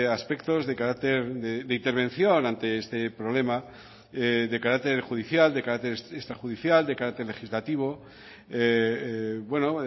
aspectos de carácter de intervención ante este problema de carácter judicial de carácter extrajudicial de carácter legislativo bueno